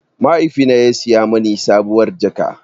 Mahaifina ya saya mini sabuwar jaka.